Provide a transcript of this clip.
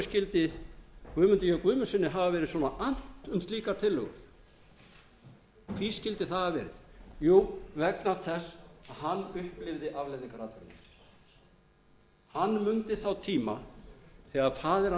hverju skyldi guðmundi j guðmundssyni af verið svona annt um slíka tillögu því skyldi það hafa verið jú vegna þess að hann upplifði afleiðingar atvinnuleysis hann mundi þá tíma þegar faðir